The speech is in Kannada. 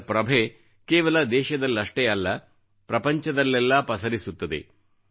ಇದರ ಪ್ರಭೆ ಕೇವಲ ದೇಶದಲ್ಲಷ್ಟೇ ಅಲ್ಲ ಪ್ರಪಂಚದಲ್ಲೆಲ್ಲಾ ಪಸರಿಸುತ್ತದೆ